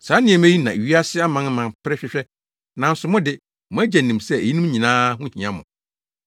Saa nneɛma yi na wiase amanaman pere hwehwɛ, nanso mo de, mo Agya nim sɛ eyinom nyinaa ho hia mo.